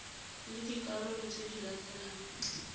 le dikarolo tse di latelang